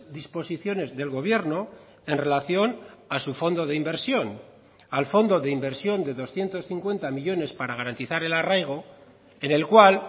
disposiciones del gobierno en relación a su fondo de inversión al fondo de inversión de doscientos cincuenta millónes para garantizar el arraigo en el cual